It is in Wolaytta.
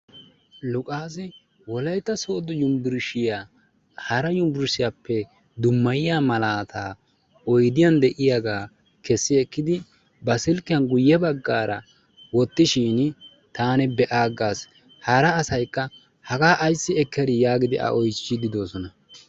Luqqassi Wolaytta Sooddo Yunbburshiya oydiyan de'iyaa ekkidi ba silkkiya wottishin taan be'a aggas, hara asaykka haga ayssi oottadi giidi a oychchigidoosona.